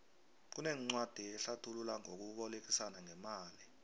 kunencwadi ehlathula ngokubolekisana ngemali